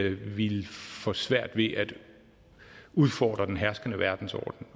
at de ville få svært ved at udfordre den herskende verdensorden